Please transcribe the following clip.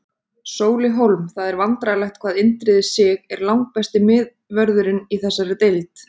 Sóli Hólm Það er vandræðalegt hvað Indriði Sig er langbesti miðvörðurinn í þessari deild.